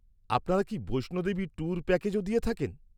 আপনারা কি বৈষ্ণো দেবী ট্যুর প্যাকেজও দিয়ে থাকেন?